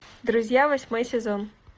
друзья восьмой сезон